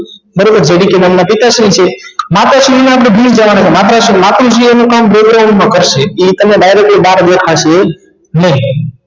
જે ડી પી નામ ના પિતાશ્રી છે માતાશ્રી ને આપણે ભૂલી જવાના છે માતુશ્રી એનું કામ માં કરશે એ તમને directly બહાર દેખાશે નહિ